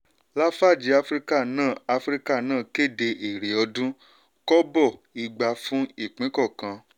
lafarge africa náà africa náà kéde èrè ọdún: kọ́bọ̀ igba fún ipín kọọkan.